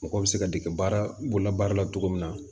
Mɔgɔ bɛ se ka dege baara bolola baara la cogo min na